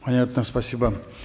понятно спасибо